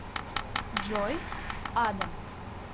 джой адам